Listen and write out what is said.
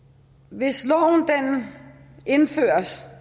hvis det indføres